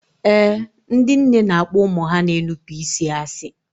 Ee, ndị nne na-akpọ ụmụ ha na-enupụ isi asị